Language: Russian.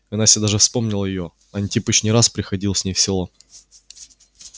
и настя даже вспомнила её антипыч не раз приходил с ней в село